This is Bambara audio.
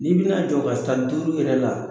N bɛna jɔ ka san duuru yɛrɛ la